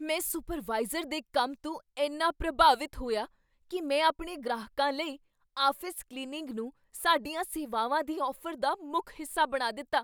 ਮੈਂ ਸੁਪਰਵਾਈਜ਼ਰ ਦੇ ਕੰਮ ਤੋਂ ਇੰਨਾ ਪ੍ਰਭਾਵਿਤ ਹੋਇਆ ਕੀ ਮੈਂ ਆਪਣੇ ਗ੍ਰਾਹਕਾਂ ਲਈ ਆਫ਼ਿਸ ਕਲੀਨਿੰਗ ਨੂੰ ਸਾਡੀਆਂ ਸੇਵਾਵਾਂ ਦੀ ਔਫ਼ਰ ਦਾ ਮੁੱਖ ਹਿੱਸਾ ਬਣਾ ਦਿੱਤਾ।